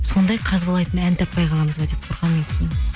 сондай қазбалайтын ән таппай қаламыз ба деп қорқамын мен кейін